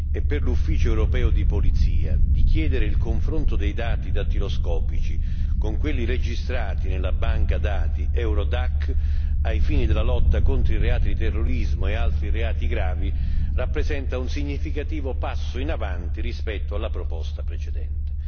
e per l'Ufficio europeo di polizia di chiedere il confronto dei dati dattiloscopici con quelli registrati nella banca dati Eurodac, ai fini della lotta contro i reati di terrorismo e altri reati gravi, rappresenta un significativo passo in avanti rispetto alla proposta precedente.